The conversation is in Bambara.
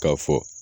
K'a fɔ